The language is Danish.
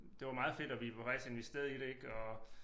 Det var meget fedt og vi var faktisk investeret i det ik og